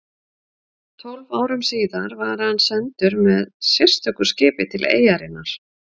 Tólf árum síðar var hann sendur með sérstöku skipi til eyjarinnar